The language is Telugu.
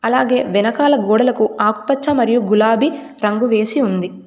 అలాగే వెనకాల గోడలకు ఆకుపచ్చ మరియు గులాబీ రంగు వేసి ఉంది.